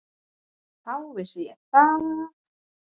Þá vissi ég það.